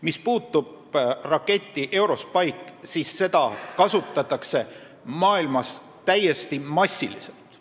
Mis puutub raketti EuroSpike, siis seda kasutatakse maailmas täiesti massiliselt.